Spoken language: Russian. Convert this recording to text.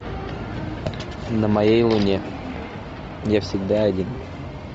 на моей луне я всегда один